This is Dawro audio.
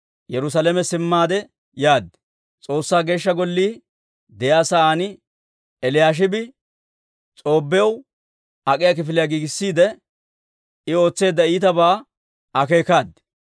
Yerusaalame simmaade yaad. S'oossaa Geeshsha Gollii de'iyaa sa'aan Eliyaashibi S'oobbiyaw ak'iyaa kifiliyaa giigissiide, I ootseedda iitabaa akeekaad.